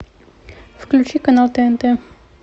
включи канал тнт